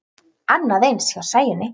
Annað eins hjá Sæunni.